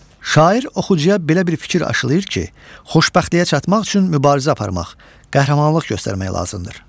Şair oxucuya belə bir fikir aşılıyır ki, xoşbəxtliyə çatmaq üçün mübarizə aparmaq, qəhrəmanlıq göstərmək lazımdır.